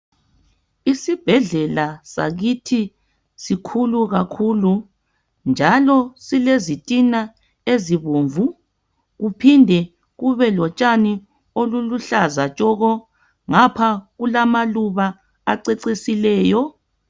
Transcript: Isibhedlela sakithi sikhulu kakhulu njalo silezitina ezibomvu, kuphinde kube lotshani oluluhlaza tshoko. Ngapha kulamaluba acecisileyo.